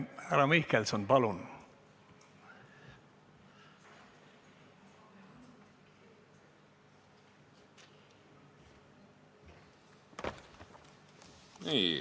Härra Mihkelson, palun!